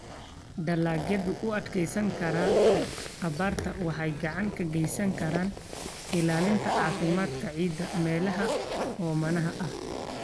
Dalagyada u adkeysan kara abaarta waxay gacan ka geysan karaan ilaalinta caafimaadka ciidda meelaha oomanaha ah.